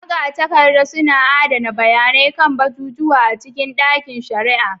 Magatakarda suna adana bayanai kan abubuwa cikin ɗakin shari'a